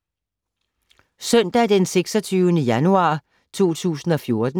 Søndag d. 26. januar 2014